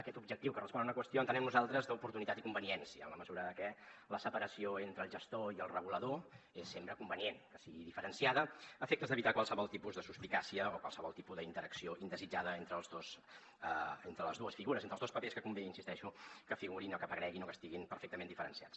aquest objectiu que respon a una qüestió entenem nosaltres d’oportunitat i conveniència en la mesura de que la separació entre el gestor i el regulador és sempre convenient que sigui diferenciada a efectes d’evitar qualsevol tipus de suspicàcia o qualsevol tipus d’interacció indesitjada entre les dues figures entre els dos papers que convé hi insisteixo que figurin o que apareguin o que estiguin perfectament diferenciats